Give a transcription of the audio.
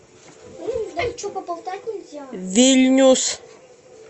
вильнюс